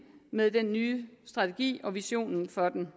med den nye strategi og visionen for den